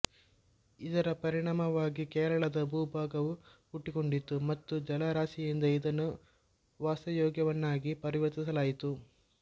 ಇದರ ಪರಿಣಾಮವಾಗಿ ಕೇರಳದ ಭೂಭಾಗವು ಹುಟ್ಟಿಕೊಂಡಿತು ಮತ್ತು ಜಲರಾಶಿಯಿಂದ ಇದನ್ನು ವಾಸಯೋಗ್ಯವನ್ನಾಗಿ ಪರಿವರ್ತಿಸಲಾಯಿತು